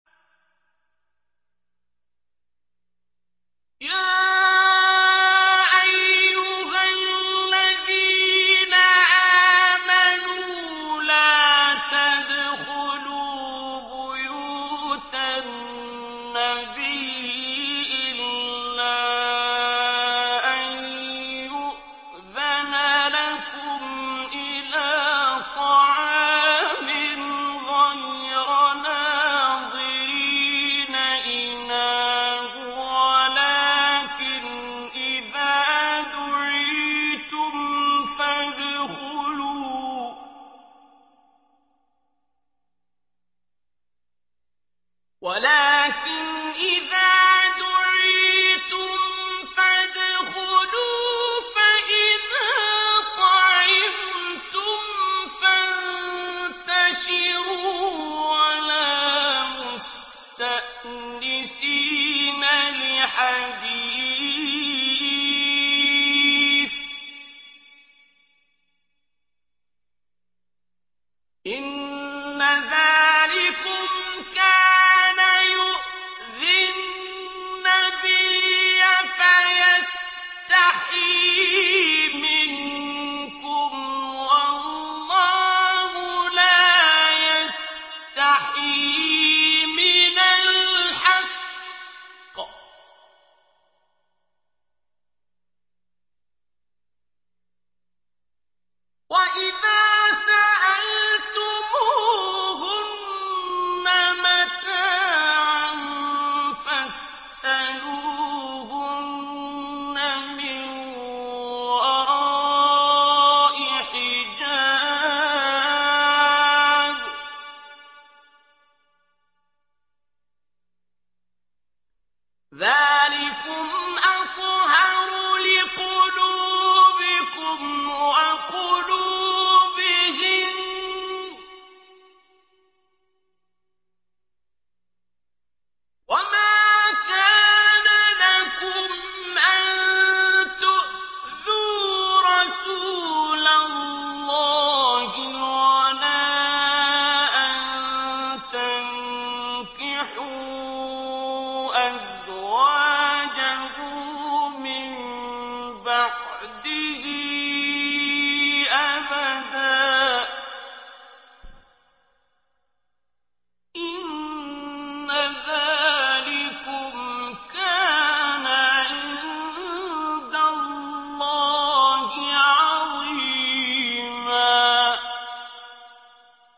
يَا أَيُّهَا الَّذِينَ آمَنُوا لَا تَدْخُلُوا بُيُوتَ النَّبِيِّ إِلَّا أَن يُؤْذَنَ لَكُمْ إِلَىٰ طَعَامٍ غَيْرَ نَاظِرِينَ إِنَاهُ وَلَٰكِنْ إِذَا دُعِيتُمْ فَادْخُلُوا فَإِذَا طَعِمْتُمْ فَانتَشِرُوا وَلَا مُسْتَأْنِسِينَ لِحَدِيثٍ ۚ إِنَّ ذَٰلِكُمْ كَانَ يُؤْذِي النَّبِيَّ فَيَسْتَحْيِي مِنكُمْ ۖ وَاللَّهُ لَا يَسْتَحْيِي مِنَ الْحَقِّ ۚ وَإِذَا سَأَلْتُمُوهُنَّ مَتَاعًا فَاسْأَلُوهُنَّ مِن وَرَاءِ حِجَابٍ ۚ ذَٰلِكُمْ أَطْهَرُ لِقُلُوبِكُمْ وَقُلُوبِهِنَّ ۚ وَمَا كَانَ لَكُمْ أَن تُؤْذُوا رَسُولَ اللَّهِ وَلَا أَن تَنكِحُوا أَزْوَاجَهُ مِن بَعْدِهِ أَبَدًا ۚ إِنَّ ذَٰلِكُمْ كَانَ عِندَ اللَّهِ عَظِيمًا